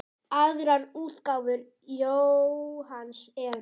Aðrar útgáfur Jóhanns eru